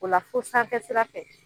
O la fo sanfɛ sira fɛ.